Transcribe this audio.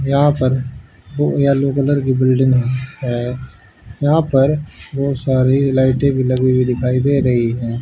यहां पर दो येलो कलर की बिल्डिंग है यहां पर बहोत सारी लाइटें भी लगी हुई दिखाई दे रही हैं।